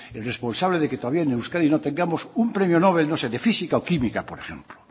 el responsable de que en euskadi no tengamos un premio nobel no sé de física o química por ejemplo